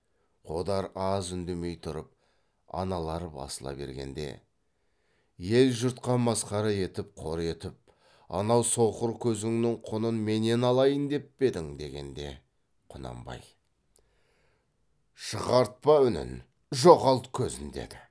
қодар аз үндемей тұрып аналар басыла бергенде ел жұртқа масқара етіп қор етіп анау соқыр көзіңнің құнын менен алайын деп пе едің дегенде құнанбай шығартпа үнін жоғалт көзін деді